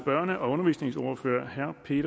er